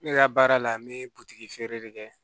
Ne ka baara la n bɛ butigi feere de kɛ